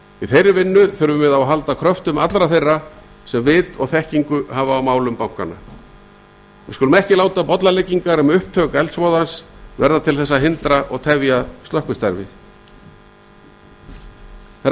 í þeirri vinnu þurfum við á að halda kröftum allra þeirra sem vit og þekkingu hafa á málum bankanna við skulum ekki láta bollaleggingar um upptök eldsvoðans verða til þess að hindra eða tefja slökkvistarfið hæstvirtur